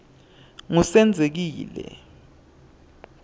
ngusenzekile